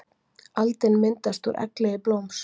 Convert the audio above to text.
Aldin myndast úr egglegi blóms.